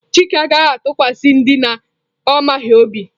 Chike anaghi atukwasi ndị na ọ maghị obi.